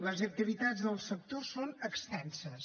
les activitats del sector són extenses